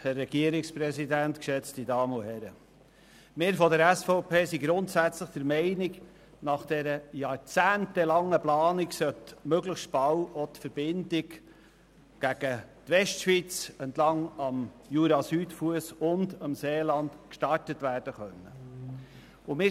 Wir von der SVP sind grundsätzlich der Meinung, nach dieser jahrzehntelangen Planung solle möglichst bald auch die Verbindung zur Westschweiz entlang des JuraSüdfuss und dem Seeland gestartet werden können.